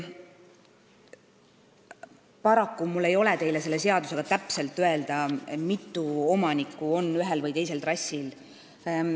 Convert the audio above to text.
Paraku ei ole mul teile selle seadusega seoses võimalik täpselt öelda, kui mitu omanikku on ühel või teisel trassil.